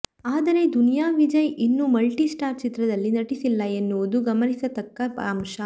ಆದರೆ ದುನಿಯಾ ವಿಜಯ್ ಇನ್ನೂ multi star ಚಿತ್ರದಲ್ಲಿ ನಟಿಸಿಲ್ಲ ಎನ್ನುವುದು ಗಮನಿಸತಕ್ಕ ಅಂಶ